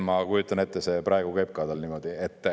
Ma kujutan ette, et see praegu käib ka tal niimoodi.